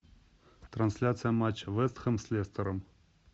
трансляция матча вест хэм с лестером